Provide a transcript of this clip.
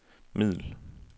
middel